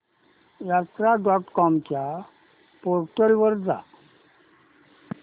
यात्रा dot com च्या portal वर जा